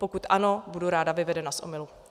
Pokud ano, budu ráda vyvedena z omylu.